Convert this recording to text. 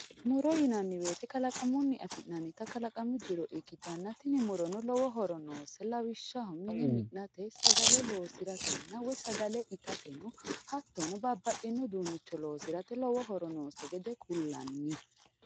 Muro yinnanni woyte kalaqamunni affi'nanitta muro ikkittanna, tini murono lowo lawishshaho mine mi'nate, sagale ittateno hattono babbaxino uduunicho loosirate lowo horo noose gede ku'lanni.